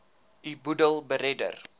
u boedel beredder